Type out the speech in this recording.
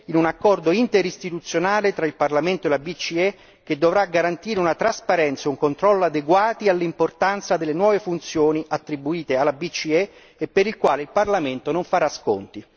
Un ruolo che deve ora trovare una traduzione coerente in un accordo interistituzionale tra il Parlamento e la BCE, che dovrà garantire una trasparenza e un controllo adeguati all'importanza delle nuove funzioni attribuite alla BCE e per il quale il Parlamento non farà sconti.